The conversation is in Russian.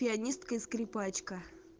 пианистка и скрипачка